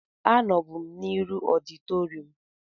Anọbu m n'iru ọditorịum